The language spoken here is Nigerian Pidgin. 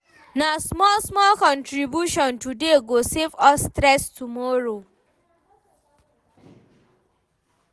Na small-small contribution today go save us stress tomorrow.